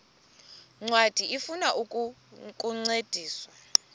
ncwadi ifuna ukukuncedisa